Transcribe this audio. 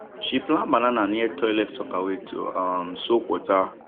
she plant banana near toilet soakaway to um suck water